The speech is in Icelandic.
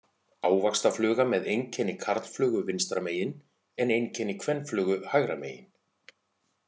Ávaxtafluga með einkenni karlflugu vinstra megin en einkenni kvenflugu hægra megin.